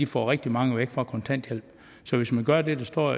får rigtig mange væk fra kontanthjælp så hvis man gør det der står